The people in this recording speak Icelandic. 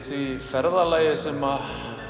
því ferðalagi sem